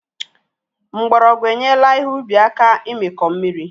Mgbọrọgwụ enyela ihe ubi aka imikọ mmiri